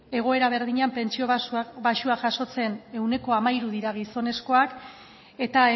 egoera berdinean pentsio baxuak jasotzen ehuneko hamairu dira gizonezkoak eta